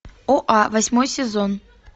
оа восьмой сезон